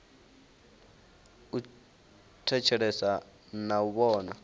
u thetshelesa na u vhona